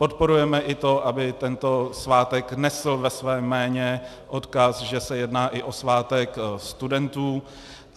Podporujeme i to, aby tento svátek nesl ve svém jméně odkaz, že se jedná i o svátek studentů.